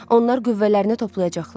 Onlar qüvvələrini toplayacaqlar.